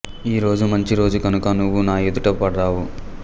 ఈ రోజు మంచి రోజు కనుక నువ్వు నా ఎదుట పడ్డావు